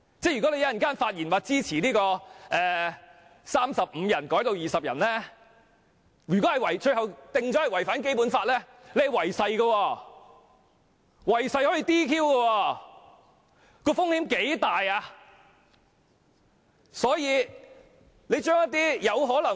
如果有議員稍後發言表示支持由35人降至20人的建議，而最終該建議被裁定違反《基本法》，有關議員即屬違